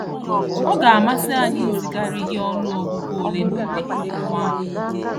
Ọ ga amasi anyị izigara gị ọnụ ọgụgụ ole na ole akwụkwọ ahụ